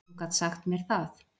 Hún gat sagt mér það.